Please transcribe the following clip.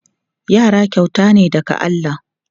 Yara kyauta ne daga Allah.